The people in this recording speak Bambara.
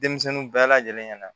Denmisɛnninw bɛɛ lajɛlen ɲɛna